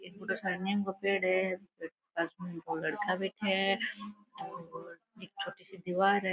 पेड़ है पास में दो लड़का बैठा है और एक छोटी दिवार है।